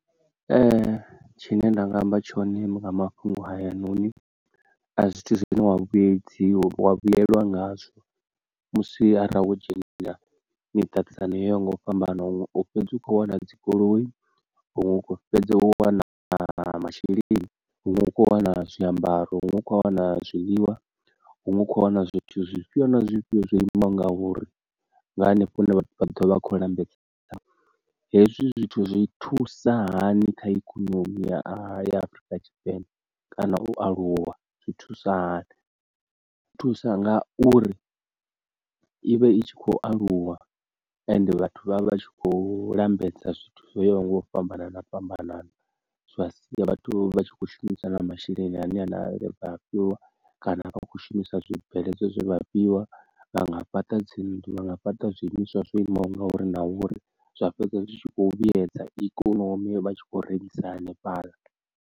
Ee tshine nda nga amba tshone nga mafhungo haya noni a zwithu zwine wa vhuyedzi wa vhuyelwa ngazwo musi arali wo dzhenelela miṱaṱisano yo yaho nga u fhambana, huṅwe u fhedzi u kho wana dzigoloi, huṅwe ukho fhedza wana na masheleni, huṅwe hu kho wana zwiambaro, huṅwe hu kho wana zwiḽiwa, huṅwe kho wana zwithu zwifhio na zwifhio zwo ima ngauri nga hanefho hune vha ḓo vha a kho lambedza ngaho, hezwi zwithu zwi thusa hani kha ikonomi ya Afurika Tshipembe kana u aluwa zwa thusa nga uri ivha i tshi khou aluwa, ende vhathu vha vha tshi khou lambedza zwithu zwo yaho nga u fhambanana fhambanana, zwa sia vhathu vha tshi kho shumisa na masheleni ane aḽa e vha a fhiwa kana vha khou shumisa zwibveledzwa zwe vha fhiwa, vhanga fhaṱa dzi nnḓu, vhanga fhaṱa zwiimiswa zwo imaho ngauri na uri zwa fhedza zwi tshi khou vhuyedza ikonomi vha tshi khou rengisa hanefhaḽa.